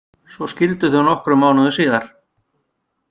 Svo skildu þau nokkrum mánuðum síðar.